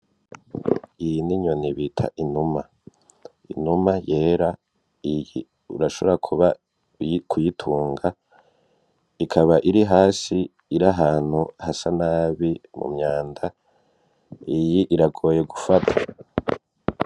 Iyi n'inyoni bita inuma. Inuma yera iyi urashobora kuba kuyitunga ikaba iri hasi iri ahantu hasa nabi mu myanda iyi iragoye gufata.